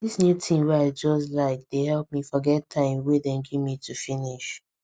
this new thing wey i just like dey help me forget time wey dem give me to finish